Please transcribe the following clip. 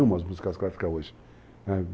E amo as músicas clássicas hoje.